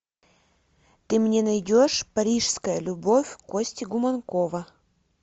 ты мне найдешь парижская любовь кости гуманкова